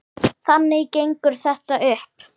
Þannig gengur þetta upp.